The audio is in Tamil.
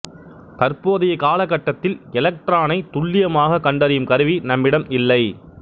தற்போதைய காலகட்டத்தில் எல்கட்ரானை துல்லியமாக கண்டறியும் கருவி நம்மிடம் இல்லை